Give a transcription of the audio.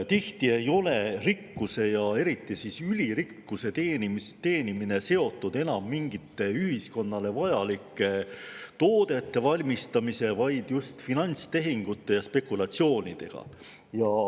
Tihti ei ole rikkuse ja eriti ülirikkuse teenimine seotud enam mingite ühiskonnale vajalike toodete valmistamise, vaid just finantstehingute ja spekulatsioonidega.